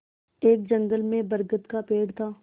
एक जंगल में बरगद का पेड़ था